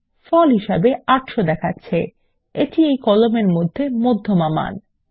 ফল হিসাবে ৮০০ দেখাচ্ছে এটি এই কলামের মধ্যমা খরচ